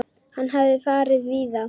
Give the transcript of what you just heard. Hann hafði farið víða.